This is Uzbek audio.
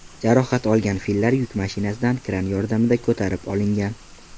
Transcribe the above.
Jarohat olgan fillar yuk mashinasidan kran yordamida ko‘tarib olingan.